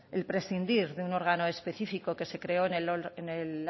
el prescindir de un órgano específico que se creó en el